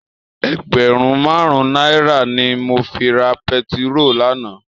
Ègbèrún màrún nàirá ni mó fi rá pètiró làná